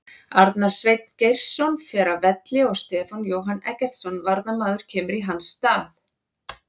Arnar Sveinn Geirsson fer af velli og Stefán Jóhann Eggertsson varnarmaður kemur í hans stað.